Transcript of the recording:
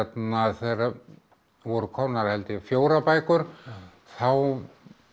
þegar voru komnar held ég fjórar bækur þá